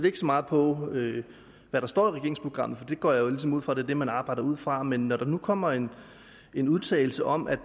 ikke så meget på hvad der står i regeringsprogrammet for det går jeg ligesom ud fra er det man arbejder ud fra men når der nu kommer en en udtalelse om at